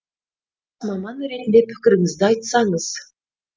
маман ретінде пікіріңізді айтсаңыз